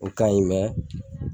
O kaɲi